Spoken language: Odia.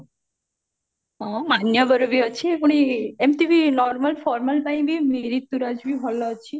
ହଁ ମାନ୍ୟବର ବି ଅଛି ପୁଣି ଏମତି ବି normal ଫରମାଲ ପାଇଁ ବି ରିତୁରାଜ ଭଲ ଅଛି